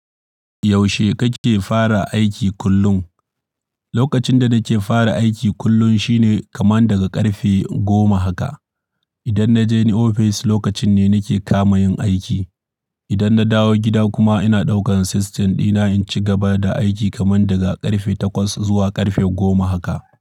Yaushe kake fara aiki kullum? Lokacin da nake fara aiki kullum shine kamar daga ƙarfe goma haka. Idan na je ni ofis lokacin ne nike kama yin aiki. Idan na dawo gida kuma ina ɗaukan system dina in ci gaba da aiki kamar daga ƙarfe takwas zuwa ƙarfe goma haka.